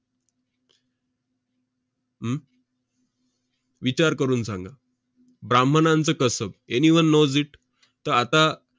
हम्म विचार करून सांगा. 'ब्राम्हणांचं कसब'. anyone knows it? तर आता